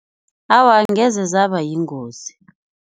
Awa, angeze zaba yingozi.